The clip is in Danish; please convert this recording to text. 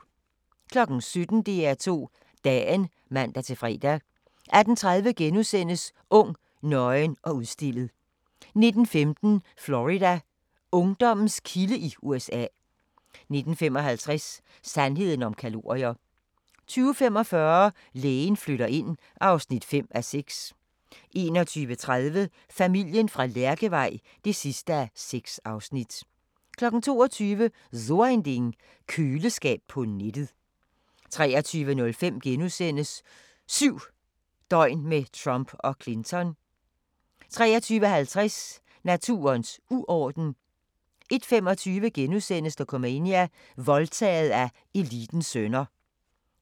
17:00: DR2 Dagen (man-fre) 18:30: Ung, nøgen og udstillet * 19:15: Florida: Ungdommens kilde i USA 19:55: Sandheden om kalorier 20:45: Lægen flytter ind (5:6) 21:30: Familien fra Lærkevej (6:6) 22:00: So Ein Ding: Køleskab på nettet 23:05: 7 døgn med Trump og Clinton * 23:50: Naturens uorden 01:25: Dokumania: Voldtaget af elitens sønner *